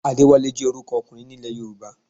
Adéwálé jẹ́ orúkọ ọkùnrin ní ilẹ̀ Yorùbá